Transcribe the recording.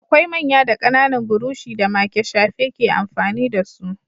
Akwai manya da ƙananan burushi da make shafe ke amfani da su.